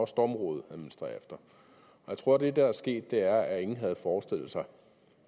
stormrådet administrerer efter jeg tror at det der er sket er at ingen havde forestillet sig